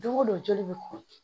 Don go don joli bɛ kɔn